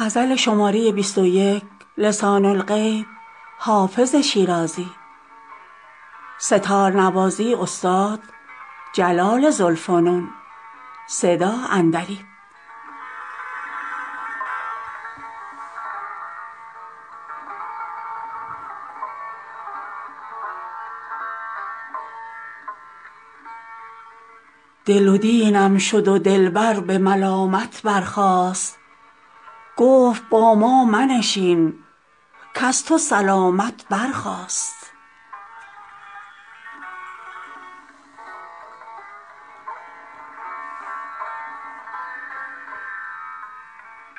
دل و دینم شد و دلبر به ملامت برخاست گفت با ما منشین کز تو سلامت برخاست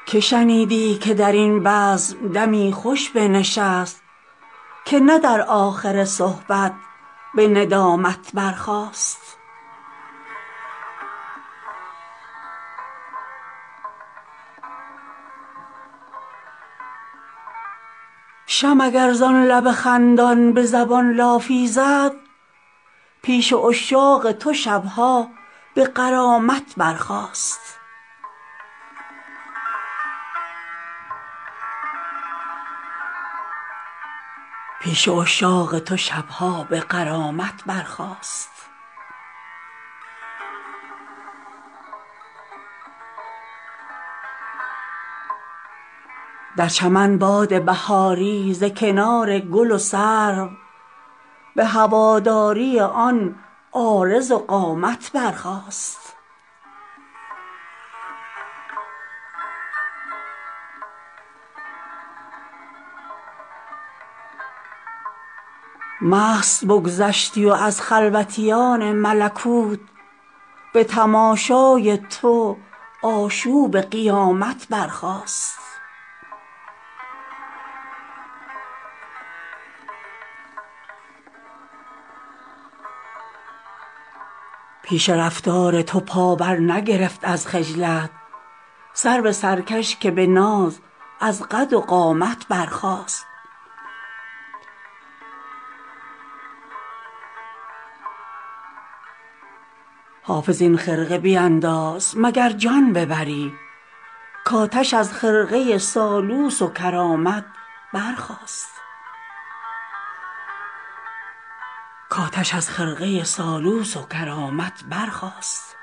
که شنیدی که در این بزم دمی خوش بنشست که نه در آخر صحبت به ندامت برخاست شمع اگر زان لب خندان به زبان لافی زد پیش عشاق تو شب ها به غرامت برخاست در چمن باد بهاری ز کنار گل و سرو به هواداری آن عارض و قامت برخاست مست بگذشتی و از خلوتیان ملکوت به تماشای تو آشوب قیامت برخاست پیش رفتار تو پا برنگرفت از خجلت سرو سرکش که به ناز از قد و قامت برخاست حافظ این خرقه بینداز مگر جان ببری کآتش از خرقه سالوس و کرامت برخاست